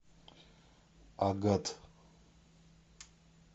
агат